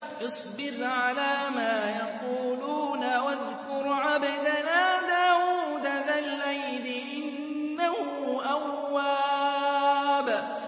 اصْبِرْ عَلَىٰ مَا يَقُولُونَ وَاذْكُرْ عَبْدَنَا دَاوُودَ ذَا الْأَيْدِ ۖ إِنَّهُ أَوَّابٌ